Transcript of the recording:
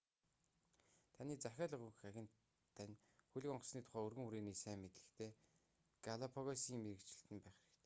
таны захиалга өгөх агент тань хөлөг онгоцны тухай өргөн хүрээний сайн мэдлэгтэй галапагосын мэргэжилтэн байх хэрэгтэй